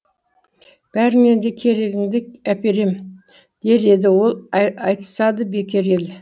бәріннен де керегіңді әперем дер еді ол айтысады бекер ел